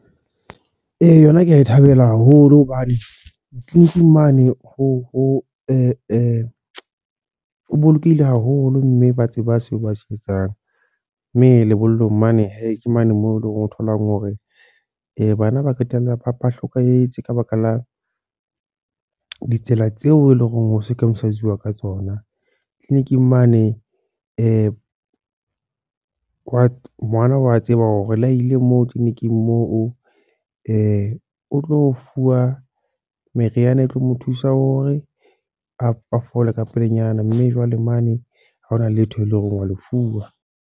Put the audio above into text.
Ee, yona ke a e thabela haholo. Hobane clinic-ing mane ho bolokehile haholo, mme ba tseba seo ba se etsang. Mme lebollong mane he, ke mane moo o tholang hore bana ba qetella ba ba hlokahetse ka baka la ditsela tseo eleng hore ho circumsise-zuwa ka tsona. Clincic-ing mane wa, ngwana wa tseba hore ha ile moo clinic-ing moo o tlo fuwa meriana e tlo mo thusa hore a fole ka pelenyana. Mme jwale mane ha hona letho e leng hore wa le fuwa.